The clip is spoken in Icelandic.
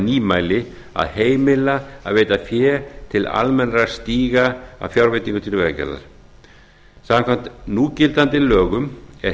nýmæli að heimila að veita fé til almennra stíga af fjárveitingum til vegagerðar samkvæmt núgildandi lögum er